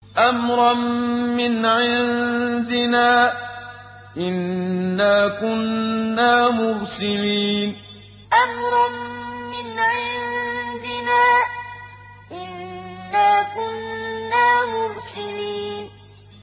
أَمْرًا مِّنْ عِندِنَا ۚ إِنَّا كُنَّا مُرْسِلِينَ أَمْرًا مِّنْ عِندِنَا ۚ إِنَّا كُنَّا مُرْسِلِينَ